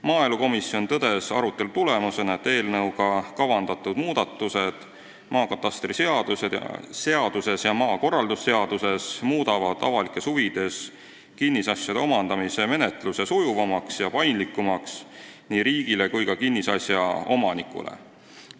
Maaelukomisjon tõdes arutelu tulemusena, et eelnõuga kavandatud muudatused maakatastriseaduses ja maakorraldusseaduses muudavad avalikes huvides kinnisasjade omandamise menetluse sujuvamaks ja paindlikumaks nii riigile kui ka kinnisasja omanikule.